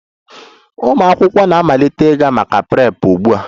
Ụmụ akwụkwọ na-amalite ịga maka Prep ugbu a!